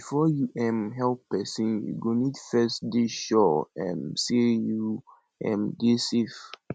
before you um help persin you go need first dey sure um sey you um dey safe